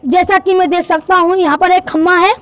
जैसा कि मैं देख सकता हूं यहाँ पर एक खम्भा है।